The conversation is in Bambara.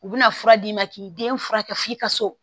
U bɛna fura d'i ma k'i den furakɛ f'i ka so